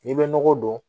N'i bɛ nɔgɔ don